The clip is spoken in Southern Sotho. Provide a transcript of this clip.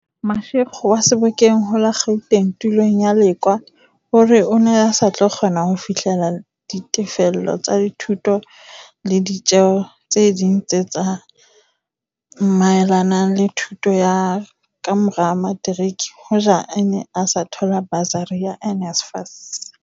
Mashego wa Sebokeng ho la Gauteng tulong ya Lekoa o re o ne a sa tlo kgona ho fihlella ditefello tsa dithuto le ditjeo tse ding tse tsa maelanang le thuto ya ka mora materiki hoja a ne a sa thola basari ya NSFAS.